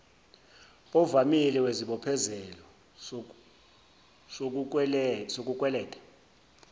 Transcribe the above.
ovamile wesibophezelo sokukweleta